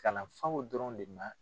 Kalanfaw dɔrɔn le na